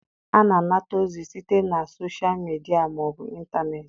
A na-anata ozi site na soshal midia ma ọ bụ ịntanetị.